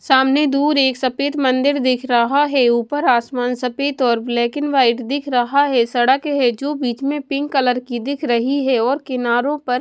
सामने दूर एक सफेद मंदिर दिख रहा है ऊपर आसमान सफेद और ब्लैक एंड वाइट दिख रहा है सड़क है जो बीच में पिंक कलर की दिख रही है और किनारों पर --